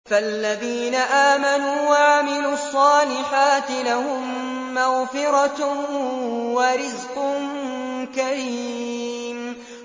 فَالَّذِينَ آمَنُوا وَعَمِلُوا الصَّالِحَاتِ لَهُم مَّغْفِرَةٌ وَرِزْقٌ كَرِيمٌ